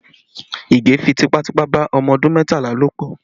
Ige fi tipátipá bá ọmọ ọdún mẹ́tàlá lò pọ